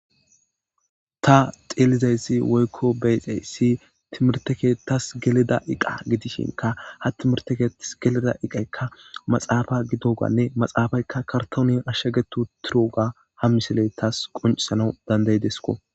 ta xeelizayssi woykko beyxey si timirtekeetas geleda iqa gidishinka ha timirtekeettas geleda iqekka maxaafa gidoganne maxaafaykka kartoonyn ashshagetu turuga ha miseley taas qoncisana dandaydesko